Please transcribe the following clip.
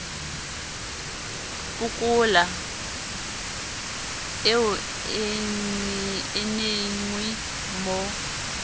pokola eo e nenge mo